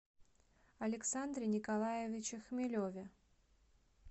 александре николаевиче хмелеве